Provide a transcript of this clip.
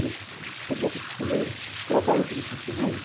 Ele fala, sou boca de silêncio, trabalho é pelo testemunho.